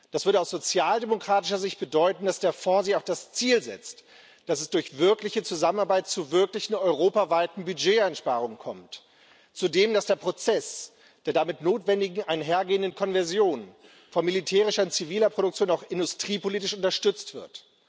Das würde aus sozialdemokratischer Sicht bedeuten, dass der Fonds sich auch das Ziel setzt, dass es durch wirkliche Zusammenarbeit zu wirklichen europaweiten Budgeteinsparungen kommt, zudem, dass der Prozess der damit notwendig einhergehenden Konversion von militärischer und ziviler Produktion auch industriepolitisch unterstützt wird.